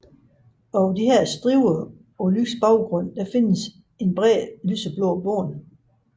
Over disse striber på lys baggrund findes et bredt lyseblåt bånd